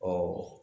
Ɔwɔ